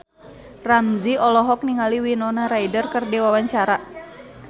Ramzy olohok ningali Winona Ryder keur diwawancara